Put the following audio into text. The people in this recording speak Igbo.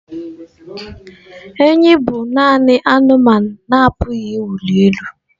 Enyí bụ nanị anụmanụ na-apụghị ịwụli elu.